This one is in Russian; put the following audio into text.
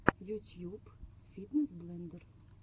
ютьюб фитнес блендер